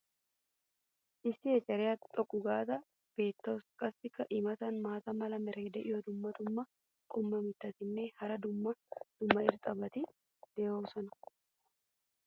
issi ecceriya xoqqu gaada beetawusu. qassi i matankka maata mala meray diyo dumma dumma qommo mitattinne hara dumma dumma irxxabati de'oosona.